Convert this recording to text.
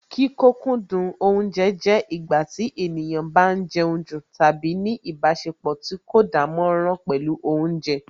Kí kókúndù oúnje jẹ́ ìgbà tí ènìyàn bá ń jẹun jù tàbí ní ìbáṣepọ̀ tí kò dánmọ́nrán pẹ̀lú Oúnjẹ